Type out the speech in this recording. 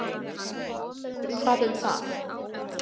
Hvað um það?